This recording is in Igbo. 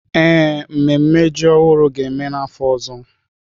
Ee, mmemme ji ọhụrụ ga-eme n'afọ ọzọ.